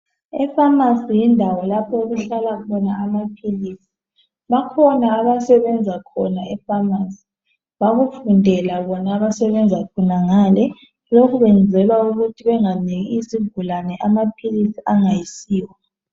Efamasi yindawo lapho okuhlala khona amaphilisi bakhona abasebenza khona efamasi bakufundela bona abasebenza khonangale lokhu kwenzelwa ukuthi benganiki izigulane amaphilisi angayisiwo.